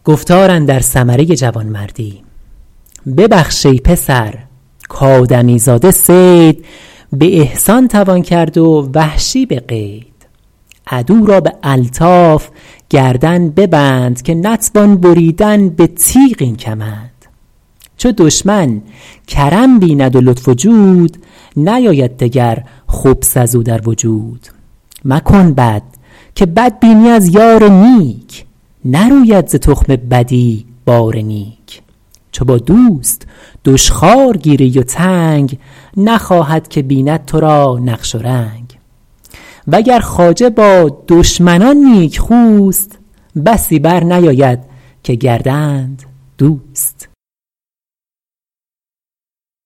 ببخش ای پسر کآدمی زاده صید به احسان توان کرد و وحشی به قید عدو را به الطاف گردن ببند که نتوان بریدن به تیغ این کمند چو دشمن کرم بیند و لطف و جود نیاید دگر خبث از او در وجود مکن بد که بد بینی از یار نیک نروید ز تخم بدی بار نیک چو با دوست دشخوار گیری و تنگ نخواهد که بیند تو را نقش و رنگ و گر خواجه با دشمنان نیکخوست بسی بر نیاید که گردند دوست